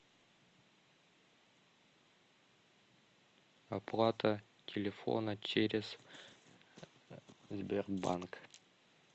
оплата телефона через сбербанк